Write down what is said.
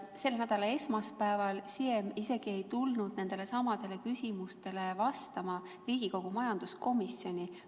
Selle nädala esmaspäeval ei tulnud Siem nendelesamadele küsimustele vastama isegi Riigikogu majanduskomisjoni.